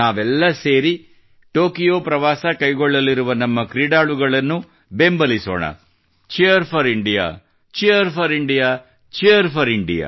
ನಾವೆಲ್ಲ ಸೇರಿ ಟೊಕಿಯೋ ಪ್ರವಾಸ ಕೈಗೊಳ್ಳಲಿರುವ ನಮ್ಮ ಕ್ರೀಡಾಳುಗಳಿಗೆ ನಾವು ಬೆಂಬಲಿಸೋಣ Cheer4IndiaCheer4IndiaCheer4India